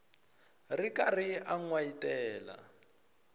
ri karhi a n wayitela